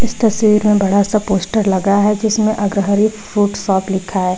तस्वीर में बड़ा सा पोस्टर लगा है जिसमें अग्रहरी फ्रूट शॉप लिखा है।